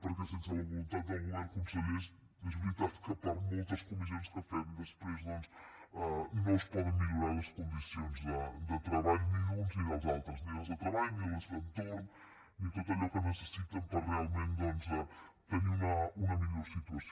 perquè sense la voluntat del govern consellers és veritat que per moltes comissions que fem després doncs no es poden millorar les condicions de treball ni d’uns ni dels altres ni les de treball ni les d’entorn ni tot allò que necessiten per realment tenir una millor situació